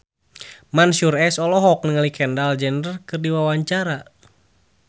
Mansyur S olohok ningali Kendall Jenner keur diwawancara